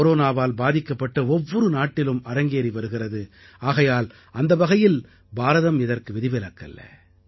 கொரோனாவால் பாதிக்கப்பட்ட ஒவ்வொரு நாட்டிலும் அரங்கேறி வருகிறது ஆகையால் அந்த வகையில் பாரதம் இதற்கு விதிவிலக்கல்ல